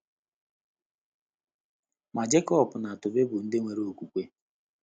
Ma Jacob na Tobe bụ ndị nwere okwukwe.